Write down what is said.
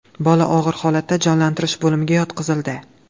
Bola og‘ir holatda jonlantirish bo‘limiga yotqizildi.